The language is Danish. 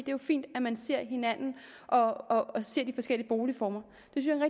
jo fint at man ser hinanden og og ser de forskellige boligformer